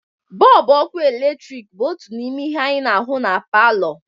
Bọlbụ ọkụ eletrik bụ otu n'ime ihe anyị na-ahụ na palọ